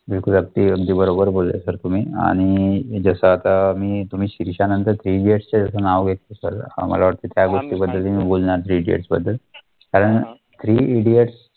बिलकुल अगदी अगदी बरोबर बोलला sir तुम्ही आणि जसं आता मी तुम्ही शेरशाहनंतर three idiots चे जसं नाव घेतले sir आम्हाला वाटले त्या गोष्टीबद्दल तुम्ही बोलणार three idiots बद्दल कारण three idiots